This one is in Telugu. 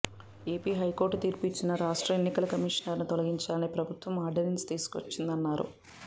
ఏపీ హైకోర్టు తీర్పు ఇచ్చినా రాష్ట్ర ఎన్నికల కమిషనర్ను తొలగించాలని ప్రభుత్వం ఆర్డినెన్స్ తీసుకొచ్చిందన్నారు